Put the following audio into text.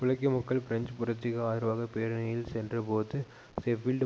உழைக்கும் மக்கள் பிரெஞ்சு புரட்சிக்கு ஆதரவாக பேரணியில் சென்ற போது ஷெபீல்டு